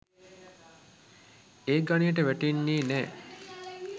ඒ ගණයට වැටෙන්නේ නෑ.